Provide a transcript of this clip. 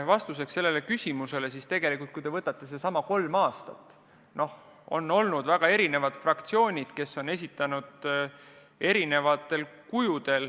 Vastuseks sellele küsimusele aga ütlen, et kui te võtate need kolm aastat, siis väga erinevad fraktsioonid on esitanud erinevad eelnõud.